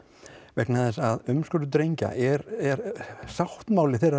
vegna þess að umskurður drengja er sáttmáli þeirra